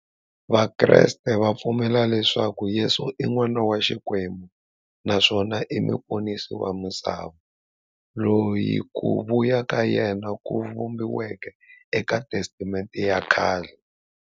Vakreste va pfumela leswaku Yesu i n'wana wa Xikwembu naswona i muponisi wa misava, loyi ku vuya ka yena ku vhumbiweke e ka Testamente ya khale.